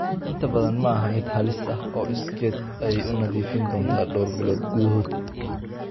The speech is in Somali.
Inta badan, ma aha mid halis ah oo iskeed ayay u nadiifin doontaa dhowr bilood gudahood.